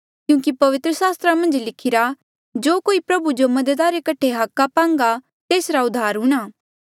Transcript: क्यूंकि पवित्र सास्त्रा मन्झ लिखिरा जो कोई प्रभु जो मदद रे कठे हाका पांगा तेसरा उद्धार हूंणा